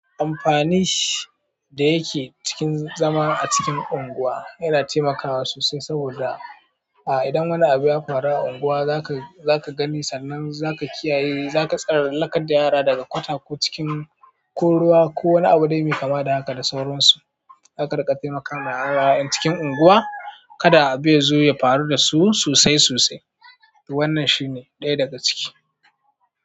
Amfanin da yake cikin zama a cikin unguwa yana taimakawa sosai. Saboda a idan wani abu ya faru a unguwa, za ka, za ka gani sannan za ka kiyaye. Za ka tsal lakar da yara daga kwata ko cikin ko ruwa ko wani abu dai mai kama da haka da sauransu. Zaka rika taimakawa yara yan cikin unguwa kada abu ya zo ya faru da su sosai sosai. To wannan shine ɗaya daga ciki.